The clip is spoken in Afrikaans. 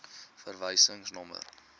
verwysingsnommer